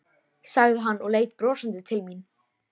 sagði hann og leit brosandi til mín.